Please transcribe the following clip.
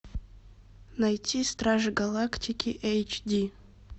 найти стражи галактики эйч ди